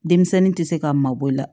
Denmisɛnnin tɛ se ka mabɔ i la